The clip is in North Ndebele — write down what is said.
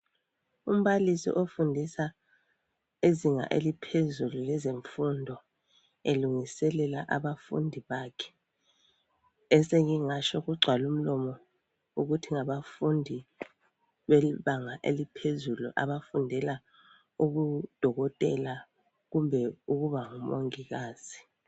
Umbalisi ofundisa ezinga eliphezulu lezemfundo elungiselela abafundi bakhe esengingatsho kugcwalumlomo ukuthi ngabafundi bebanga eliphezulu abafundela ubudokotela kumbe ukuba ngumongikazi.